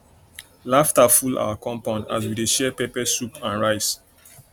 laughter full our compound as we dey share pepper soup and rice